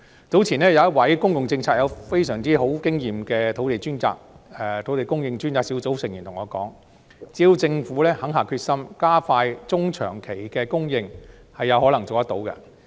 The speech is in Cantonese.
早前有一位在公共政策方面擁有非常豐富經驗的專責小組成員對我說，只要政府肯下決心加快中長期供應，是有可能做到的。